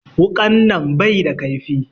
Wuƙan nan bai da ƙaifi